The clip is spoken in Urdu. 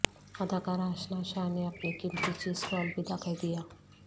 اداکارہ اشنا شاہ نے اپنی قیمتی چیز کو الوادع کہہ دیا